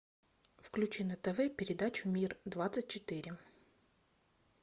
включи на тв передачу мир двадцать четыре